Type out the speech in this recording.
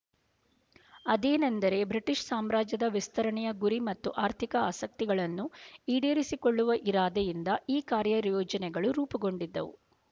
ಅದೇನೆಂದರೆ ಬ್ರಿಟಿಷ ಸಾಮ್ರಾಜ್ಯದ ವಿಸ್ತರಣೆಯ ಗುರಿ ಮತ್ತು ಆರ್ಥಿಕ ಆಸಕ್ತಿಗಳನ್ನು ಈಡೇರಿಸಿಕೊಳ್ಳುವ ಇರಾದೆಯಿಂದ ಈ ಕಾರ್ಯ ಯೋಜನೆಗಳು ರೂಪುಗೊಂಡಿದ್ದವು